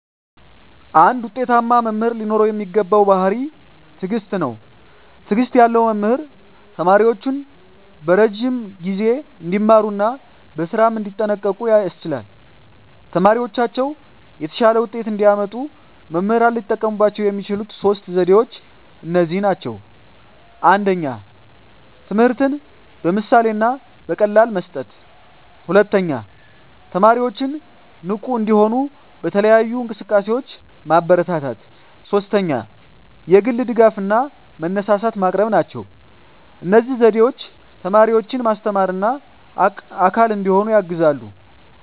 አንድ ውጤታማ መምህር ሊኖረው የሚገባው ባሕርይ ትዕግስት ነው። ትዕግስት ያለው መምህር ተማሪዎቹን በረዥም ጊዜ እንዲማሩ እና በስራም እንዲጠንቀቁ ያስችላል። ተማሪዎቻቸው የተሻለ ውጤት እንዲያመጡ መምህራን ሊጠቀሙባቸው የሚችሉት ሦስት ዘዴዎች እነዚህ ናቸው፦ ትምህርትን በምሳሌ እና በቀላል መስጠት፣ 2) ተማሪዎችን ንቁ እንዲሆኑ በተለያዩ እንቅስቃሴዎች ማበረታታት፣ 3) የግል ድጋፍ እና መነሳሳት ማቅረብ ናቸው። እነዚህ ዘዴዎች ተማሪዎችን ማስተማርና አካል እንዲሆኑ ያግዛሉ።